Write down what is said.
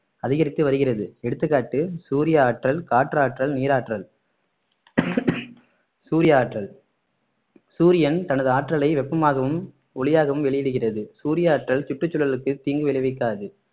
அதிகரித்து வருகிறது எடுத்துக்காட்டு சூரிய ஆற்றல் காற்றாற்றல் நீராற்றல் சூரிய ஆற்றல் சூரியன் தனது ஆற்றலை வெப்பமாகவும் ஒளியாகவும் வெளியிடுகிறது சூரிய ஆற்றல் சுற்றுச்சூழலுக்கு தீங்கு விளைவிக்காது